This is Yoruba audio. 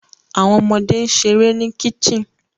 Awọn ọmọde n ṣere ni kicten